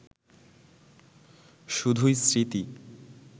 শুধুই স্মৃতি